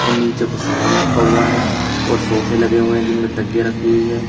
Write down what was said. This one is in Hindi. नीचे कुछ सामान रखा हुआ है और सोफे लगे हुए है जिनमें तकिए रखी हुई है।